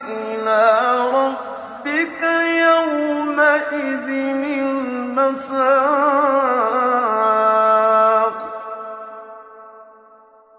إِلَىٰ رَبِّكَ يَوْمَئِذٍ الْمَسَاقُ